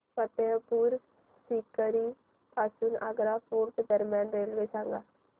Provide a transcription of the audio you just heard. फतेहपुर सीकरी पासून आग्रा फोर्ट दरम्यान रेल्वे सांगा